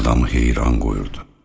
Adamı heyran qoyurdu.